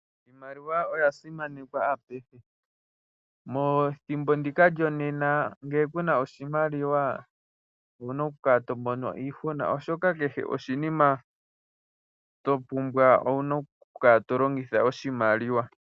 Iimaliwa oya simana apehe. Methimbo ndika lyonena ngele kuna oshimaliwa owuna oku kala tomono iihuna, oshoka kehe oshinima topumbwa owuna oku kala tolongitha oshimaliwa.